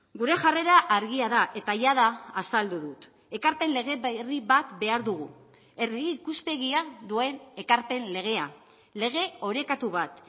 gure jarrera argia da eta jada azaldu dut ekarpen lege berri bat behar dugu herri ikuspegia duen ekarpen legea lege orekatu bat